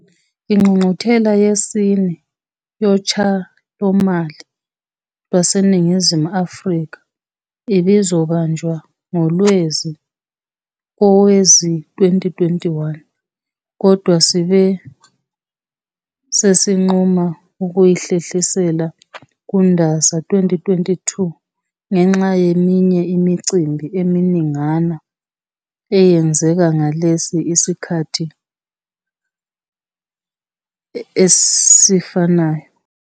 Ingqungquthela yesine Yotshalomali lwaseNingizimu Afrika ibizobanjwa ngoLwezi kowezi2021, kodwa sibe sesinquma ukuyihlehlisela kuNdasa 2022 ngenxa yeminye imicimbi eminingana eyenzeka ngalesi sikhathi esifanayo.